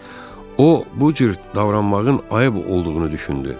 O, bu cür davranmağın ayıb olduğunu düşündü.